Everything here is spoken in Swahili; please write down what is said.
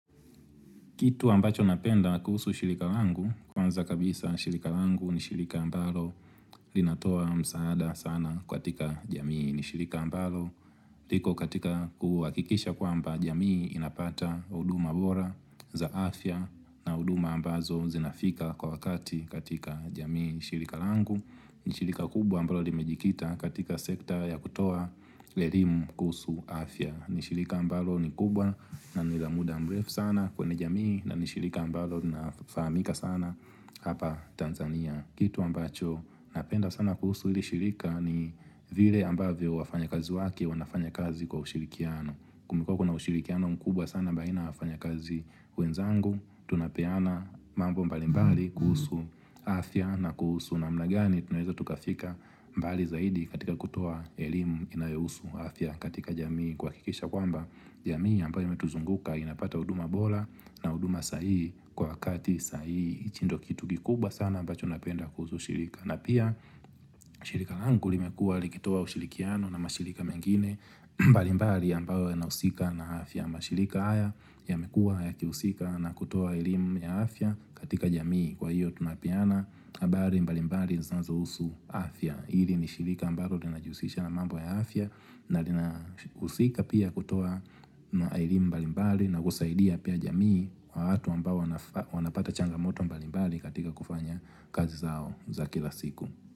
Kitu ambacho napenda kuhusu shirika langu, kwanza kabisa shirika langu ni shirika ambalo linatoa msaada sana katika jamii ni shilika ambalo. Kitu ambacho napenda kuhusu shilika langu, kwanza kabisa shilika langu ni shilika ambalo linatoa msaada sana kwa tika jamii ni shilika ambalo. Liko katika kuhu wakikisha kwa mba jamii inapata uduma bora za afya na uduma ambazo zinafika kwa wakati katika jamii ni shilika ambalo. Nishilika kubwa ambalo limejikita katika sekta ya kutoa lerimu kuhusu afya. Liko katika kuhakikisha kwamba jamii inapata uduma bora za afya na huduma ambazo zinafika kwa wakati katika jamii ni shirika ambalo. Nishirika kubwa ambalo limejikita katika sekta ya kutoa elimu kuhusu afya. Nishirika ambalo ni kubwa na ni la muda mrefu sana kwenye jamii na ni shirika ambalo linafahamika sana hapa Tanzania kitu ambacho napenda sana kuhusu hili shirika ni afya na kuhusu namna gani tunaweza tukafika mbali zaidi katika kutoa elimu inayohusu afya katika jamii kuhakikisha kwamba jamii ambayo inatuzunguka inapata huduma bora na huduma sahihi na kwa wakati sahihi, hicho ndo kitu kikubwa sana ambacho napenda kuhusu shirika na pia shirika langu limekuwa likitoa ushirikiano na mashirika mengine mbalimbali ambayo yanahusika na afya, mashirika haya yamekua yakihusika na kutoa elimu ya afya katika jamii kwa hiyo tunapeana habari mbalimbali zinazohusu afya, hili ni shirika ambalo linajihusisha na mambo ya afya na linahusika pia kutoa elimu mbalimbali na kusaidia pia jamii wa watu ambao wanapata changamoto mbalimbali katika kufanya kazi zao za kila siku.